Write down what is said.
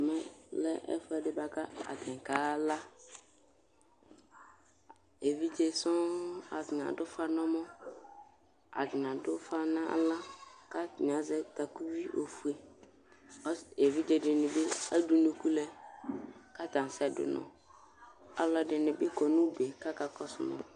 ɛmɛ lɛ ɛfoɛdi boa ko atani kala evidze sɔŋ atani ado ufa n'ɛmɔ atani ado ufa n'ala ko atani azɛ takuvi ofue k'evidze dini bi ede unuku lɛ k'atani asɛ do unɔ aloɛdini bi kɔ no udue k'aka kɔsu ma